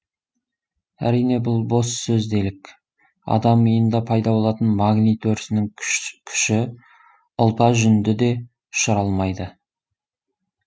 әрине бұл бос сөз делік адам миында пайда болатын магнит өрісінің күші ұлпа жүнді де ұшыра алмайды